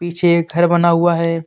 पिछे एक घर बना हुआ है.